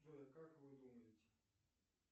джой а как вы думаете